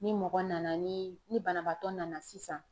Ni mɔgɔ nana ni ni banabaatɔ nana sisan.